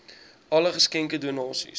alle geskenke donasies